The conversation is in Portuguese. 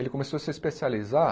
Ele começou a se especializar